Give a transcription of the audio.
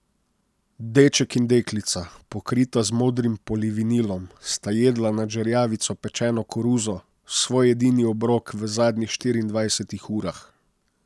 Deček in deklica, pokrita z modrim polivinilom, sta jedla nad žerjavico pečeno koruzo, svoj edini obrok v zadnjih štiriindvajsetih urah.